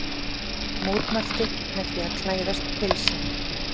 Mótmælti með því að klæðast pilsi